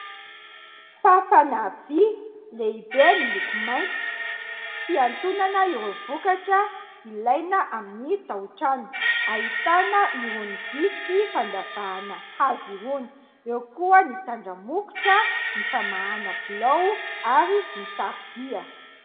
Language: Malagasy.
Fafana vy lehibe miloko mainty fiantonana ireo vokatra ilaina amin'ny taotrano ahitana irony vy sy fandavahana hazy irony eo koa ny tandramokotra, ny famahana blao ary ny tarobia.